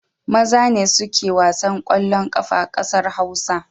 Maza ne suke wasan ƙeallon ƙafa a ƙasar Hausa.